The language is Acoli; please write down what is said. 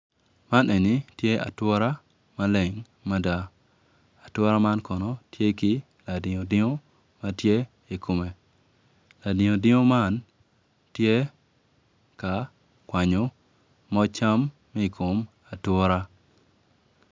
Man eni tye atura tuk kun winyo man opito tyene aryo odwoko angec winyo man oyaro bome kun tye ka tuk dogwinyo man tye moc cam ma i kom atura.